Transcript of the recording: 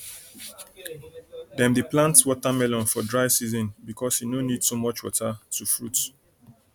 dem dey plant watermelon for dry season because e no need too much water to fruit